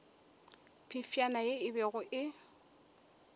phefšana ye e bego e